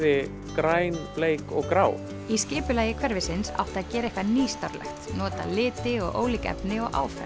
græn bleik og grá í skipulagi hverfisins átti að gera eitthvað nýstárlegt nota liti og ólík efni og áferð